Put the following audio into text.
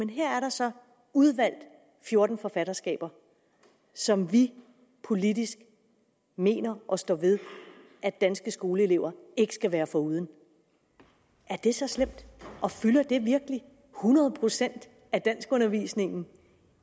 her er der så udvalgt fjorten forfatterskaber som vi politisk mener og står ved at danske skoleelever ikke skal være foruden er det så slemt og fylder det virkelig hundrede procent af danskundervisningen